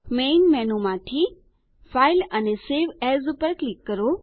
main menu માંથી file અને save as પર ક્લિક કરો